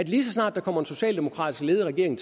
lige så snart der kommer en socialdemokratisk ledet regering